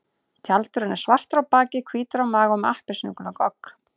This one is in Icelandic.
Tjaldurinn er svartur á baki, hvítur á maga og með appelsínugulan gogg.